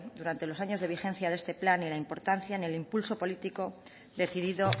durante los años de vigencia de este plan ni la importancia ni el impulso político decidido